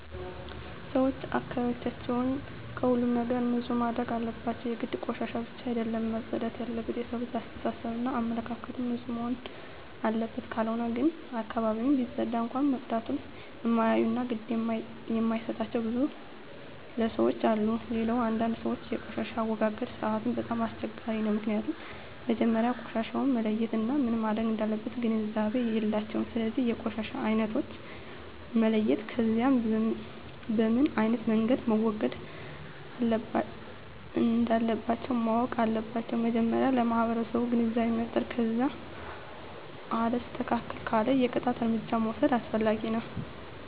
ሰወች አካባቢያቸውን ከሁሉም ነገር ንፁህ ማድረግ አለባቸው የግድ ቆሻሻ ብቻ አደለም መፅዳት የለበት የሠው ልጅ አሰተሳሰብ እና አመለካከትም ንፁህ መሆንና አለበት ካልሆነ ግን አካባቢውን ቢፀዳም እንኳ መፀዳቱን እማያዮ እና ግድ እማይጣቸው ብዙ ለሠዎች አሉ። ሌላው አንዳንድ ሰወች የቆሻሻ አወጋገድ ስርዓቱ በጣም አስቸጋሪ ነው ምክኒያቱም መጀመሪያ ቆሻሻውን መለየት እና ምን መረግ እንዳለበት ግንዛቤ የላቸውም ስለዚ የቆሻሻ አይነቶችን መለየት ከዛ በምኖ አይነት መንገድ መወገድ እንለባቸው ማወቅ አለባቸው መጀመሪያ ለማህበረሰቡ ግንዛቤ መፍጠር ከዛ አልስተካክል ካለ የቅጣት እርምጃ መውስድ አስፈላጊ ነው